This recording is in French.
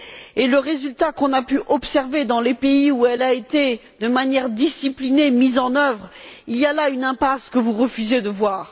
et le résultat qu'on a pu observer dans les pays où elles ont été, de manière disciplinée, mises en œuvre, il y a là une impasse que vous refusez de voir.